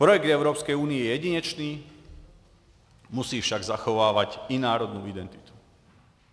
Projekt Evropské unie je jedinečný, musí však zachovávat i národní identitu.